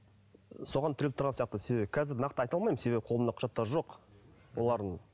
соған тіреліп тұрған сияқты себебі қазір нақты айта алмаймын себебі қолымда құжаттары жоқ олардың